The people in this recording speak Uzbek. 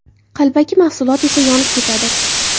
Qalbaki mahsulot esa yonib ketadi.